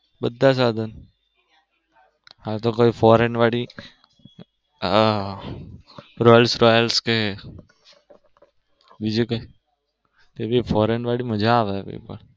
બધા સાધન હા તો કોઈ foreign વાળી આહ રોયલ્સ રોયલ્સ કે બીજું કઈ foreign વાળી મજા આવે.